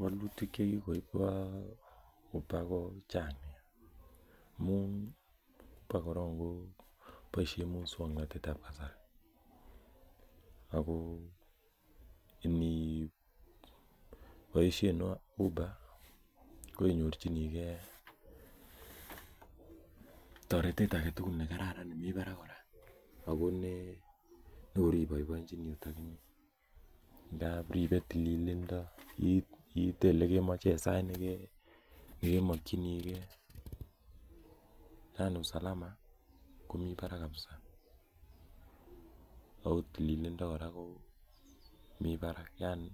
Walilutik che kikoip Uber ko chang' nea amun po koron ko paishen muswoknotet ap kasari ako yemi poishenwa ,uber ko inyorchingei taretet ake tugul nemi parak kora, ako ne kor ipaipaichini akot akinye. Ndap ipetililindo iite ole kemache en sait ne kemakchinigei, yani usalama ko mi parak kapsa ako tililindo komi parak yani